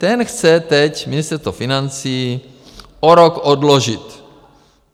Ten chce teď Ministerstvo financí o rok odložit.